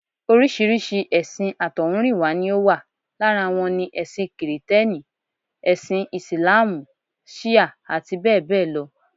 Oríṣiríṣi èsìn àtọ̀húnrìnwá ni ó wà. Lára wọn ni: ẹṣin kìrìtẹ́nì, ẹṣin Ìsìláàmù, ṣíà àti bẹ́ẹ̀ bẹ́ẹ̀ lọ